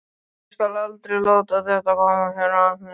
Ég skal aldrei láta þetta koma fyrir aftur.